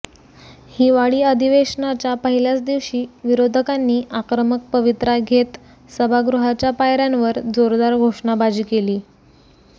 हिवाळी अधिवेशनाच्या पहिल्याच दिवशी विरोधकांनी आक्रमक पवित्रा घेत सभागृहाच्या पायऱ्यांवर जोरदार घोषणाबाजी केली